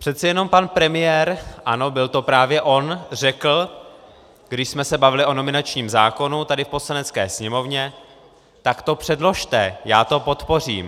Přece jenom pan premiér, ano, byl to právě on, řekl, když jsme se bavili o nominačním zákonu tady v Poslanecké sněmovně, tak to předložte, já to podpořím.